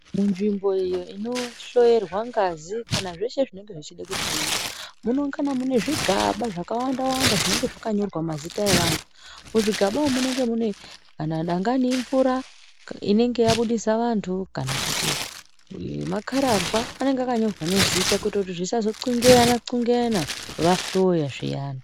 Munzvimbo iyo inohloyerwa ngazi kana zveshe zvinenge zvichida kuhloyewa munenge mune zvigaba zvakawanda Wanda zvinenge zvakanyorwa mazita evantu muzvigaba umu munenge dangani imvura inenge yabudisa vantu kana kuti makhararwa zvinenge zvakanyorwa nezita kuita kuti zvisazokhungewana kungewana vahloya zviyani.